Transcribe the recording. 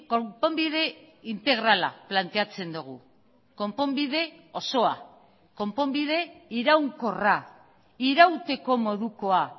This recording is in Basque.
konponbide integrala planteatzen dugu konponbide osoa konponbide iraunkorra irauteko modukoa